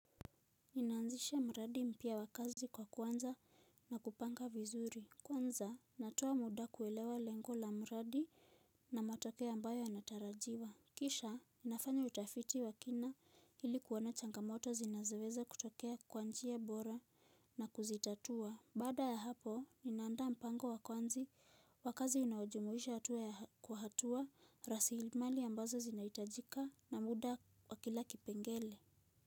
Ninaanzisha mradi mpya wa kazi kwa kuanza na kupanga vizuri. Kwanza natoa muda kuelewa lengo la mradi na matokeo ambayo yanatarajiwa. Kisha ninafanya utafiti wa kina ili kuona changamoto zinazoweza kutokea kwa njia bora na kuzitatua. Baada ya hapo, ninaandaa mpango wa kwanzi wa kazi inayojumuisha hatua ya kwa hatua, rasilimali ambazo zinahitajika na muda wa kila kipengele.